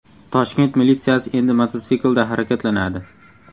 Toshkent militsiyasi endi mototsiklda harakatlanadi.